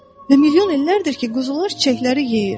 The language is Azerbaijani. Və milyon illərdir ki, quzular çiçəkləri yeyir.